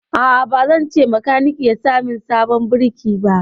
A'a, ba zan ce makaniki ya sa min sabon birki ba.